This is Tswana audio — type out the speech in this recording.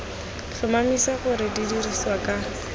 tlhomamisa gore di dirisiwa ka